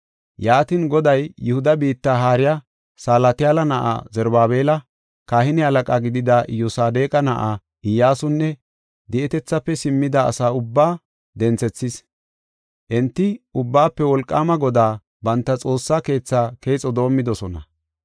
Yaatin, Goday, Yihuda biitta haariya Salatiyaala na7aa, Zarubaabela, Kahine halaqa gidida Iyyosadeqa na7aa, Iyyasunne di7etethaafe simmida asa ubbaa denthethis. Enti Ubbaafe Wolqaama Godaa, banta Xoossaa keethaa keexo doomidosona.